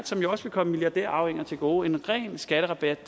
som også vil komme milliardærarvinger til gode en ren skatterabat